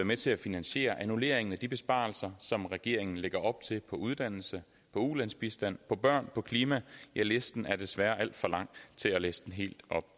med til at finansiere annulleringen af de besparelser som regeringen lægger op til for uddannelse ulandsbistand børn klima ja listen er desværre alt for lang til at læse helt op